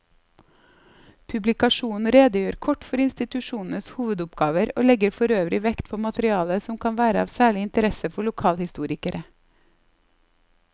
Publikasjonen redegjør kort for institusjonenes hovedoppgaver og legger forøvrig vekt på materiale som kan være av særlig interesse for lokalhistorikere.